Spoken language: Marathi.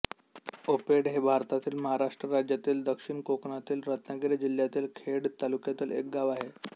आपेडे हे भारतातील महाराष्ट्र राज्यातील दक्षिण कोकणातील रत्नागिरी जिल्ह्यातील खेड तालुक्यातील एक गाव आहे